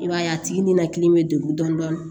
I b'a ye a tigi ninakili bɛ degun dɔɔni